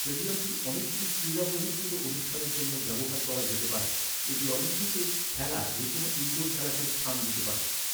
স্টেডিয়ামটি অনেকগুলি ক্রীড়া বহির্ভূত অনুষ্ঠানের জন্য ব্যবহার করা যেতে পারে। এটি অলিম্পিকে খেলা যে কোনও ইন্ডোর খেলাকেও স্থান দিতে পারে।